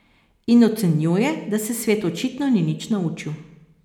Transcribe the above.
In ocenjuje, da se svet očitno ni nič naučil.